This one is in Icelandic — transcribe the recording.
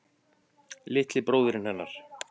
Litli bróðirinn hennar.